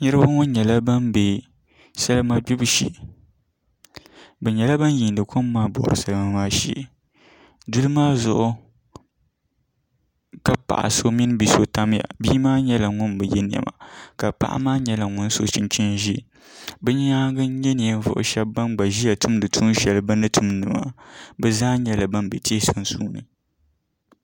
Niraba ŋo nyɛla ban bɛ salima gbibu shee bi nyɛla bin yiindi kom maa bori salima maa shee duli maa zuɣu ka paɣa so mini bia so tamya bia maa nyɛla ŋun bi yɛ niɛma ka paɣa maa nyɛla ŋun so chunchini ʒiɛ bi nyaangi n nyɛ ninvuɣu shab ban gba ʒiya tumdi tuun shɛli bini tumdi maa bi zaa nyɛla ban bɛ tihi sunsuuni